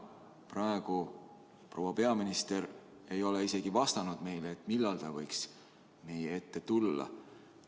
Praegu proua peaminister ei ole isegi vastanud meile, millal ta võiks meie ette tulla.